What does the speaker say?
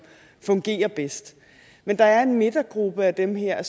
fungerer bedst men der er en midtergruppe af dem her